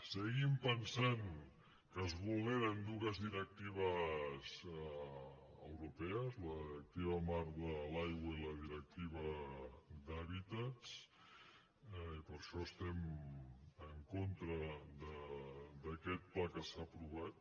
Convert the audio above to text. seguim pensant que es vulneren dues directives europees la directiva marc de l’aigua i la directiva d’hàbitats i per això estem en contra d’aquest pla que s’ha aprovat